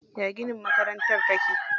Ya ginin makarantar take?